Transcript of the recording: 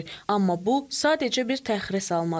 Amma bu sadəcə bir təxirə salmadır.